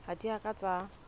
ha di a ka tsa